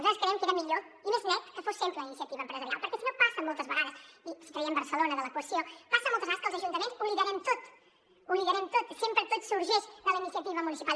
nosaltres crèiem que era millor i més net que fos sempre a iniciativa empresarial perquè si no passa moltes vegades si traiem barcelona de l’equació que els ajuntaments ho liderem tot ho liderem tot sempre tot sorgeix de la iniciativa municipal